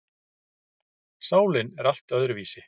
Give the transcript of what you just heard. Sálin er allt öðruvísi.